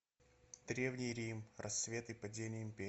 древний рим рассвет и падение империи